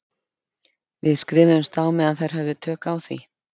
Við skrifuðumst á meðan þær höfðu tök á því.